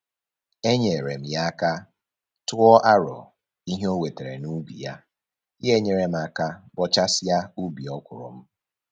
Enyeere m ya aka tụọ arọ ihe o wetara n'ubi ya, ya nyere m aka bọchasịa ubi ọkwụrụ m